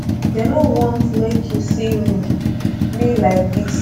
dey no want make you see um me um me like dis